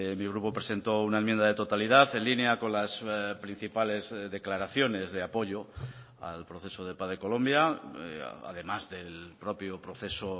mi grupo presentó una enmienda de totalidad en línea con las principales declaraciones de apoyo al proceso de paz de colombia además del propio proceso